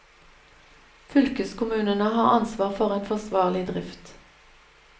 Fylkeskommunene har ansvar for en forsvarlig drift.